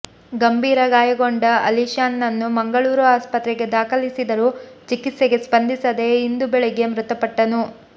ಗಂಭೀರ ಗಾಯಗೊಂಡ ಅಲಿ ಶಾನ್ ನನ್ನು ಮಂಗಳೂರು ಆಸ್ಪತ್ರೆಗೆ ದಾಖಲಿಸಿದರೂ ಚಿಕಿತ್ಸೆಗೆ ಸ್ಪಂದಿಸದೆ ಇಂದು ಬೆಳಿಗ್ಗೆ ಮೃತಪಟ್ಟನು